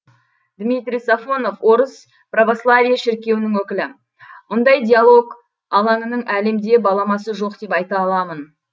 димитрий сафонов орыс православие шіркеуінің өкілі мұндай диалог алаңының әлемде баламасы жоқ деп айта аламын